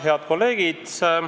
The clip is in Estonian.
Head kolleegid!